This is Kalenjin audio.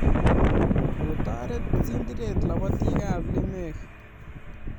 Kotoret tindiret labotikab lemek